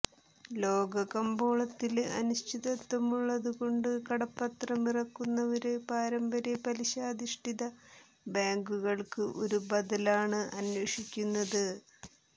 ലോക കമ്പോളത്തില് അനിശ്ചിതത്വമുള്ളതുകൊണ്ട് കടപ്പത്രമിറക്കുന്നവര് പാരമ്പര്യ പലിശാധിഷ്ഠിത ബാങ്കുകള്ക്ക് ഒരു ബദലാണ് അന്വേഷിക്കുന്നത്